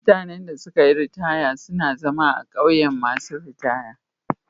Mutane da sun yi ritaya na zama a'ƙauyen masun ritaya.